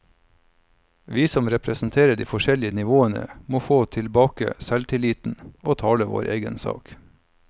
Vi som representerer de forskjellige nivåene, må få tilbake selvtilliten og tale vår egen sak.